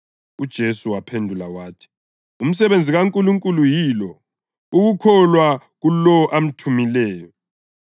UJesu waphendula wathi, “Umsebenzi kaNkulunkulu yilo: ukukholwa kulowo amthumileyo.”